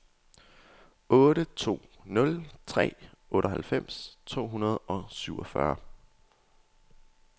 otte to nul tre otteoghalvfems to hundrede og syvogfyrre